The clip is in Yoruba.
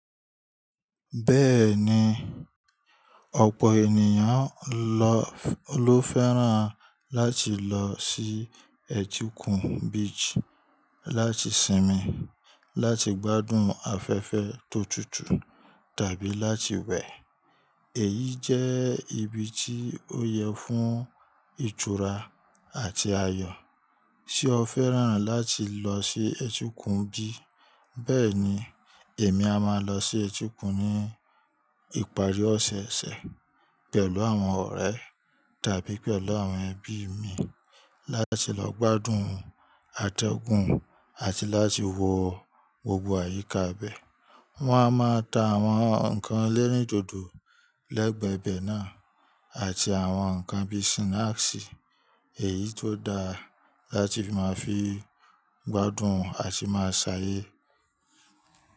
Bẹ́ẹ̀ni, ọ̀pọ̀ ènìyàn ló fẹ́ràn láti lọ sí Ẹ̀tiokun Beach láti sinmi, láti gbádùn afẹ́fẹ́ tó tútù tàbí láti wẹ̀. Èyí jẹ́ ibi tí ó yẹ fún ìtura àti ayọ̀. Ṣé o fẹ́ràn láti lọ sí Ẹ̀tikun bi Bẹ́ẹ̀ni, èmi a máa lọ sí etikun ní ìparí ọ̀sẹ̀ ẹsẹ̀ pẹ̀lú àwọn ọ̀rẹ́ tàbí pẹ̀lú àwọn ẹbí mi láti lọ gbádùn atẹgun àti láti wo gbogbo àyíká ibẹ̀. Wọn a máa ta àwọn ǹkan lẹ́rìndòdò lẹ́gbẹ̀ẹ́ ibẹ̀ náà àti àwọn ǹkan bí i snacks, èyí tó da láti máa fi gbádùn àti máa ṣàyé.